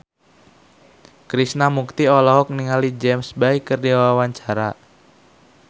Krishna Mukti olohok ningali James Bay keur diwawancara